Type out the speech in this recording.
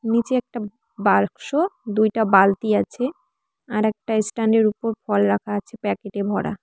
নিচে একটা বাক্স দুইটা বালতি আছে আর একটা স্ট্যান্ডের উপর ফল রাখা আছে প্যাকেটে ভরা।